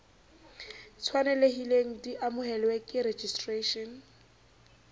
tshwanelehileng di amohelwe ke registration